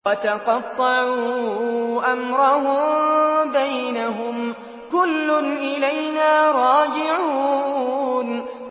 وَتَقَطَّعُوا أَمْرَهُم بَيْنَهُمْ ۖ كُلٌّ إِلَيْنَا رَاجِعُونَ